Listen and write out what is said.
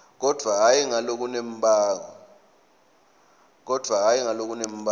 kodvwa hhayi ngalokunembako